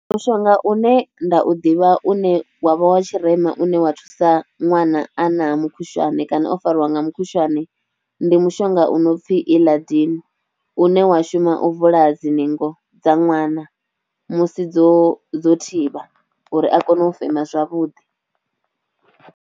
Mushonga une nda u ḓivha une wa vha wa tshirema une wa thusa ṅwana a na mukhushwane kana o fariwa nga mukhushwane ndi mushonga u no pfhi Illadin une wa shuma u vula dzi ningo dza ṅwana musi dzo dzo thivha uri a kone u fema zwavhuḓi.